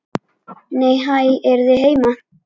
Nei, hæ, eruð þið heima!